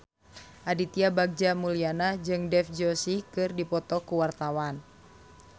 Aditya Bagja Mulyana jeung Dev Joshi keur dipoto ku wartawan